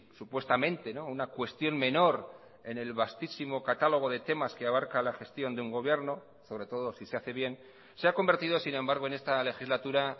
supuestamente una cuestión menor en el vastísimo catalogo de temas que abarca la gestión de un gobierno sobre todo si se hace bien se ha convertido sin embargo en esta legislatura